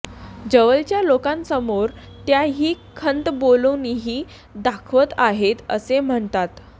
जवळच्या लोकांसमोर त्या ही खंत बोलूनही दाखवत आहेत असे म्हणतात